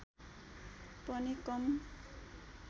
पनि कम